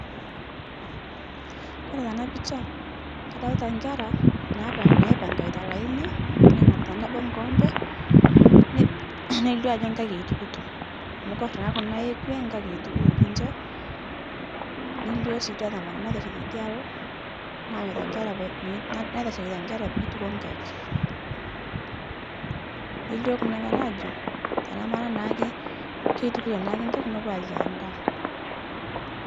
Kore tana picha kadolita nkera naipang'aita laini nenapita nabo nkoompe neilio ajo nkaik eitukutoo amu kore naa kuna ekwee nkaik eitukuto ninshe neilio sii idia tomononi naitashe teidia aloo naanyuta nkera naiteshekita nkera meituko nkaik. Neilio kuna kera ajo tanamara naake keitukuto naake nkaik nopuo aiyaa ndaa.